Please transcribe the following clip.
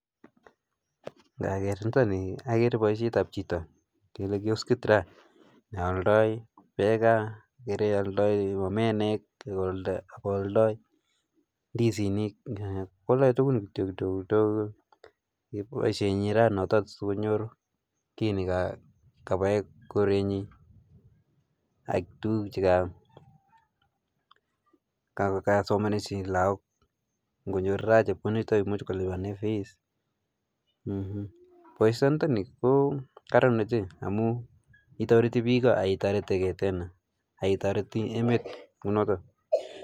Ngageer niitokni agere boisiet ap chito kioskit ra nealdai peka, gere aldai omenek, akoaldai ndisinik, kwaldai tugun kityo kidogo kidogo koboisie notok sikonyor ki nekabae korenyi ak tuguk chekasomaneshe lagook. ngonyoor ra chepkondochutok komuch kolipane fees. boisiondoni ko karan oche amau toreti biiko akitoreteigei tena akitoreti emet kunootok